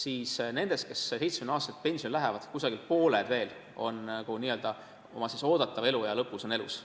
Ent nendest, kes 70-aastaselt pensionile lähevad, on umbes pooled oma oodatava eluea lõpus veel elus.